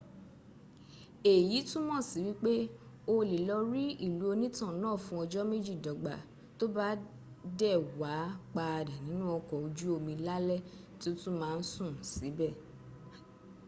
eyi tumọ si wipe o le lọ ri ilu onitan naa fun ọjọ meji dọgba to ba de waa pada ninu ọkọ oju omi lalẹ ti o tun maa sun sibẹ